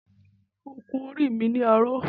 Mo ń kun orí mi ni aró